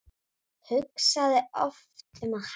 Hugsaði oft um að hætta.